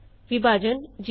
ਵਿਭਾਜਨ ਈਜੀ